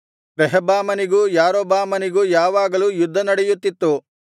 ರೆಹಬ್ಬಾಮನಿಗೂ ಯಾರೊಬ್ಬಾಮನಿಗೂ ಯಾವಾಗಲೂ ಯುದ್ಧನಡೆಯುತ್ತಿತ್ತು